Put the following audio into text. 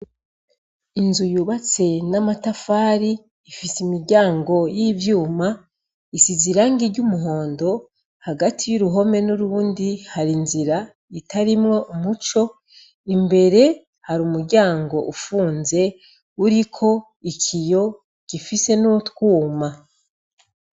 Inzu yubatse n'amatafari, ifise imiryango y'ivyuma, isize irangi ry'umuhondo. Hagati y'uruhome n'urundi, hari inzira itarimwo umuco. Imbere hari umuryango ufunze uriko ikiyo gifise n'utwuma.